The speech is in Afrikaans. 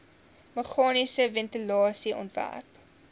meganiese ventilasie ontwerp